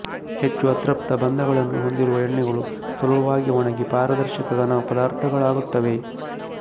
ಹೆಚ್ಚು ಅತೃಪ್ತ ಬಂಧಗಳನ್ನು ಹೊಂದಿರುವ ಎಣ್ಣೆಗಳು ಸುಲಭವಾಗಿ ಒಣಗಿ ಪಾರದರ್ಶಕ ಘನ ಪದಾರ್ಥಗಳಾಗುತ್ತವೆ